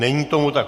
Není tomu tak.